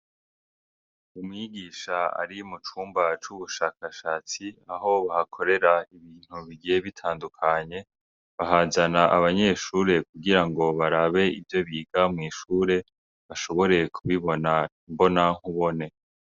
Umwigisha ari mucumba c’ubushakashatsi aho bakorera ibintu bigiye bitandukanye, ahazana abanyeshure kugira ngo barabe ivyo biga mwishure, bashobore kubibona mbona nkubone.